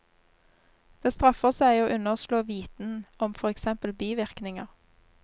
Det straffer seg å underslå viten om for eksempel bivirkninger.